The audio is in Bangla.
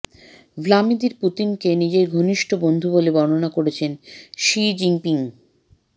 ভ্লাদিমির পুতিনকে নিজের ঘনিষ্ঠ বন্ধু বলে বর্ণনা করছেন শি জিনপিং